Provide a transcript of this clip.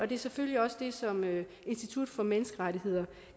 det er selvfølgelig også det som institut for menneskerettigheder